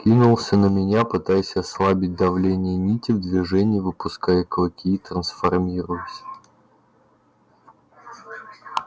кинулся на меня пытаясь ослабить давление нити в движении выпуская клыки и трансформируясь